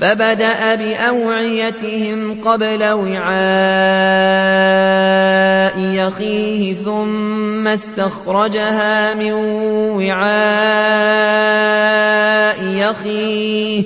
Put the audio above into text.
فَبَدَأَ بِأَوْعِيَتِهِمْ قَبْلَ وِعَاءِ أَخِيهِ ثُمَّ اسْتَخْرَجَهَا مِن وِعَاءِ أَخِيهِ ۚ